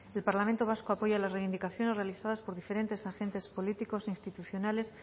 el parlamento vasco apoya la reivindicaciones realizadas por diferentes agentes políticos e institucionales